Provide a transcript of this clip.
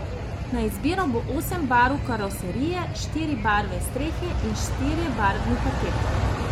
Na izbiro bo osem barv karoserije, štiri barve strehe in štirje barvni paketi.